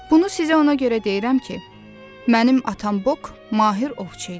Bunu sizə ona görə deyirəm ki, mənim atam Bok mahir ovçu idi.